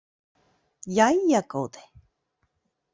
Jæja góði.